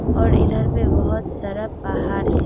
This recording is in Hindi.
और इधर भी बहोत सारा पहाड़ है।